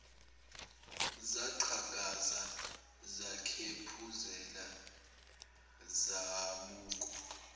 zaqhakaza zakhephuzela zabukwa